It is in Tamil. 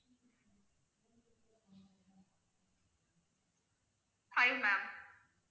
five ma'am